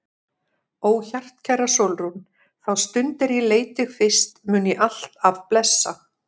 Ó hjartkæra Sólrún, þá stund er ég leit þig fyrst mun ég alt af blessa.